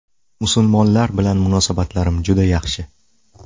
Musulmonlar bilan munosabatlarim juda yaxshi.